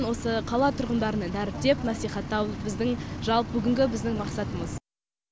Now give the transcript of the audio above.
осы қала тұрғыдарына дәріптеп насихаттау біздің жалпы бүгінгі біздің мақсатымыз